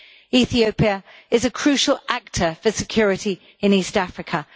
Ethiopia is a crucial actor for security in East Africa.